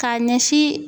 K'a ɲɛsin